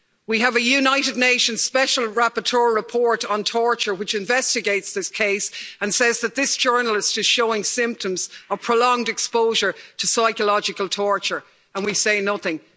We have a United Nations Special Rapporteur report on torture which investigates this case and says that this journalist is showing symptoms of prolonged exposure to psychological torture, and we say nothing.